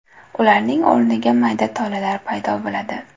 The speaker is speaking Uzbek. Ularning o‘rniga mayda tolalar paydo bo‘ladi.